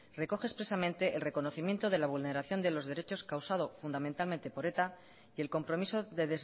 recoge expresamente el reconocimiento de la vulneración de los derechos causado fundamentalmente por eta y el compromiso de